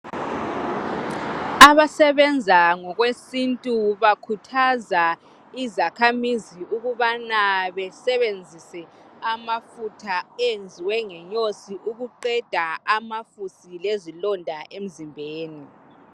Abasebenza ngokwesintu bakhuthaza izakhamizi ukubana besebenzise amafutha enziwe ngenyosi ukuqeda amafusi lezilonda emzimbeni.